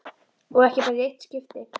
Og ekki bara í eitt skipti.